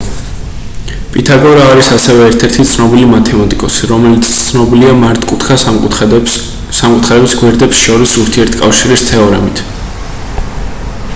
პითაგორა არის ასევე ერთ-ერთი ცნობილი მათემატიკოსი რომელიც ცნობილია მართკუთხა სამკუთხედების გვერდებს შორის ურთიერთკავშირის თეორემით